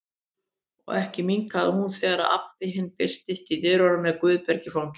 Og ekki minnkaði hún þegar Abba hin birtist í dyrunum með Guðberg í fanginu.